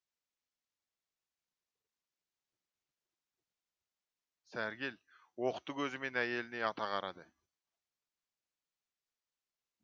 сәргел оқты көзімен әйеліне ата қарады